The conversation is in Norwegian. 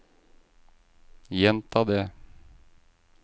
gjenta det